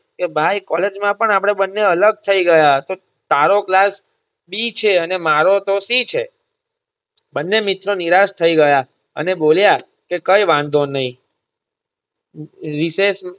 એ ભાઈ કૉલેજ માં પણ આપડે બંને અલગ થઇ ગયા તો તારો class બી છે અને મારો તો સી છે બંને મિત્રો નિરાશ થઇ ગયા અને બોલ્યા કે કઈ વાંધો નઈ રી રીસેસ.